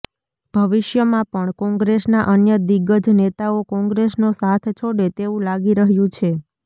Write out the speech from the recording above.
ભવિષ્યમાં પણ કોંગ્રેસના અન્ય દિગ્ગજ નેતાઓ કોંગ્રેસનો સાથ છોડે તેવું લાગી રહ્યું છે